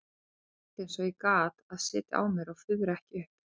Ég reyndi eins og ég gat að sitja á mér að fuðra ekki upp.